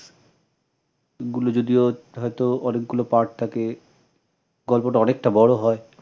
গুলো যদিও হয়ত অনেকগুলো part থাকে গল্পটা অনেকটা বড় হয় ।